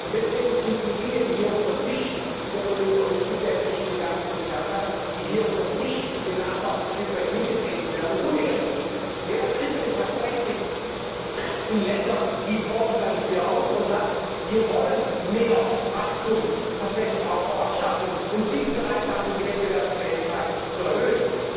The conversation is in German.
Deswegen sind die Dinge, die hier unter dem Tisch wie der Kollege Olle Schmidt, der inzwischen gegangen ist, gesagt hat den Nachbarn ein Stück weit hingetreten werden, unehrlich. Wer tritt denn tatsächlich in Ländern wie Portugal dafür ein und sagt Wir wollen mehr Wachstum tatsächlich auch vor Ort schaffen und sind bereit, dafür die Wettbewerbsfähigkeit zu erhöhen?